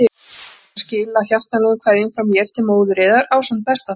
Munið eftir að skila hjartanlegum kveðjum frá mér til móður yðar ásamt besta þakklæti.